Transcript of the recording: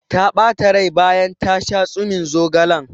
Ta ɓata rai bayan ta sha tsumin zogalen.